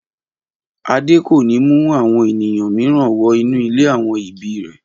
Adé kò ní mú àwọn ènìyàn mìíràn wọ inú ilé àwọn ibi rẹ̀!